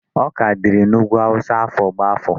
Ọka dịrị n'ugwu Hausa afọ gbá afọ.